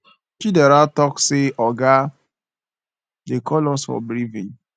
chidera talk say oga dey call us for briefing